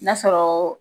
N'a sɔrɔ